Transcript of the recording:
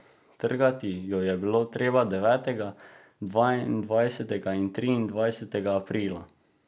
Trgati jo je bilo treba devetega, dvaindvajsetega in triindvajsetega aprila.